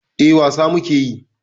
Eh, wasa muke yi.